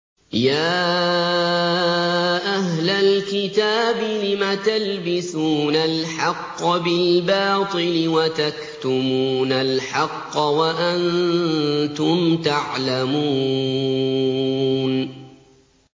يَا أَهْلَ الْكِتَابِ لِمَ تَلْبِسُونَ الْحَقَّ بِالْبَاطِلِ وَتَكْتُمُونَ الْحَقَّ وَأَنتُمْ تَعْلَمُونَ